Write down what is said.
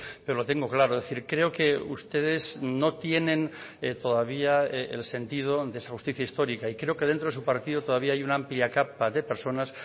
pero lo tengo claro es decir creo que ustedes no tienen todavía el sentido de esa justicia histórica y creo que dentro de su partido todavía hay una amplia capa de personas